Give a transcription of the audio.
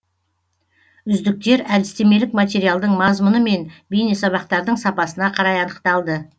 үздіктер әдістемелік материалдың мазмұны мен бейнесабақтардың сапасына қарай анықталды